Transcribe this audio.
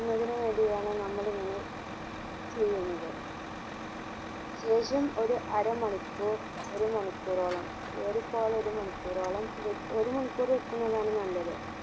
ഇടുന്നതിന് വേണ്ടിയാണ് നമ്മൾ ഇങ്ങനെ ചെയ്യുന്നത് ശേഷം ഒരു അരമണിക്കൂർ ഒരു മണിക്കൂറോളം ഏറിപ്പോയാൽ ഒരു മണിക്കൂറോളം വെക് ഒരു മണിക്കൂറ് വെക്കുന്നതാണ് നല്ലത്